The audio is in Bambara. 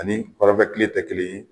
Ani kɔnrɔnfɛ kile tɛ kelen ye